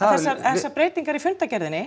þessar breytingar í fundargerðinni